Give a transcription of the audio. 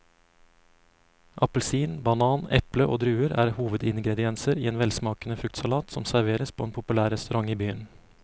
Appelsin, banan, eple og druer er hovedingredienser i en velsmakende fruktsalat som serveres på en populær restaurant i byen.